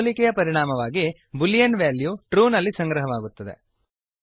ಈ ಹೋಲಿಕೆಯ ಪರಿಣಾಮವಾಗಿ ಬೂಲಿಯನ್ ವ್ಯಾಲ್ಯೂ ಟ್ರೂ ನಲ್ಲಿ ಸಂಗ್ರಹವಾಗುತ್ತದೆ